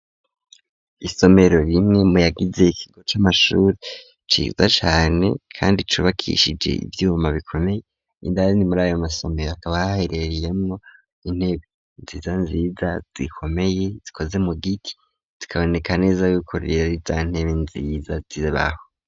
Isomero rimwe muyagize ikigo c'amashuri ciza cane kandi cubakishije ivyuma bikomeye, indani muri ayo masomero akaba aherereyemwo intebe nziza nziza zikomeye zikoze mu giti, zikaboneka neza yuko rero arizantebe nziza zibaho.